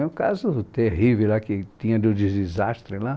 É um caso terrível lá que tinha dos de desastres lá.